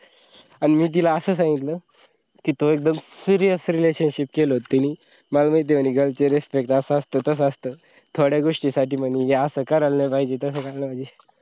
अन मी तिला असं सांगितलं, कि तो एकदम serious relationship केला होता तेनी. मला महिती म्हणे girls ची respect असं असता तसा असता थोड्या गोष्टीसाठी म्हणे हे असा करायला नई पाहिजे तसा करायला नई पाहिजे.